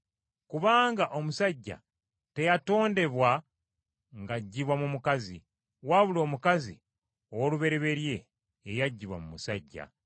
Kubanga omusajja teyatondebwa ng’aggibwa mu mukazi, wabula omukazi ow’olubereberye ye yaggyibwa mu musajja.